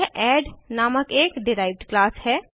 यह एड नामक एक डिराइव्ड क्लास है